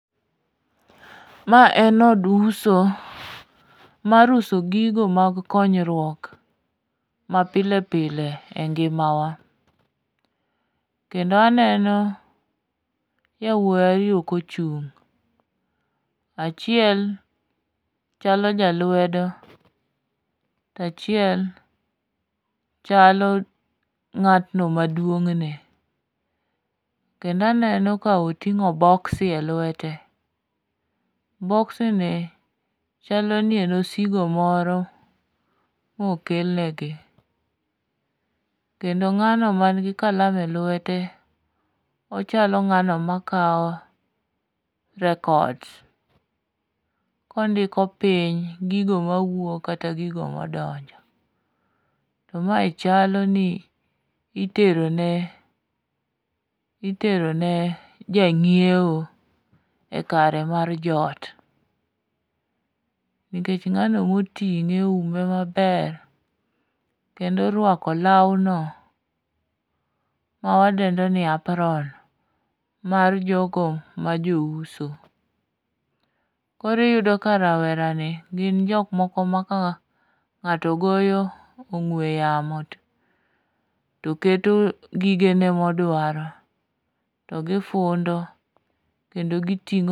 Ma en od uso mar uso gigo mag konyruok mapile pile e ngimawa, kendo aneno jawuoyi ariyo kochung',achiel chalo jalwedo, tachiel chalo ng'ato maduong'ne ne, kendo aneno koting'o boksi e lwete. Boksini chalo ni en osigo moro mokel negi, kendo ng'ano manigi kalam elwete, ochalo ng'ano makawo records kondiko piny gigo mawuok kata gigo madonjo, to mae chalo ni iterone jang'iewo e kare mar ot. Nikech ng'anomoting'e oume maber kendo orwako lawno mawadendo ni apron mar jogo majouso. Koro iyudo ka rawerani gin jok moko ma ka ng'ato goyo ong'we yamo to keto gigene modawro to gifundo kendo giting'o.